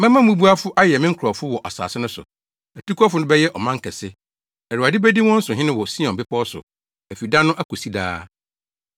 Mɛma mmubuafo ayɛ me nkurɔfo wɔ asase no so, atukɔfo no bɛyɛ ɔman kɛse. Awurade bedi wɔn so hene wɔ Sion bepɔw so afi da no akosi daa.